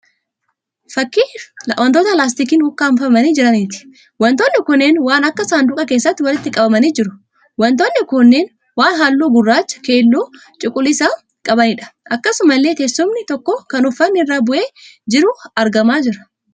Fakkii wantoota laastikiin ukkaanfamanii jiraniiti. wantoonni kunneen waan akka saanduqaa keessatti walitti qabamanii jiru. wantoonni kunneen waan halluu gurraacha, keelloo fi cuquliisa qabaniidha. Akkasumallee teessumni tokko kan uffanni irra bu'ee jiru argamaa jira.